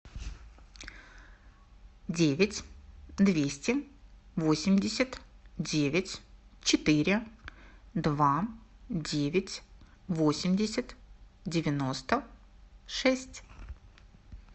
девять двести восемьдесят девять четыре два девять восемьдесят девяносто шесть